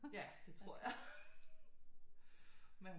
Ja det tror jeg men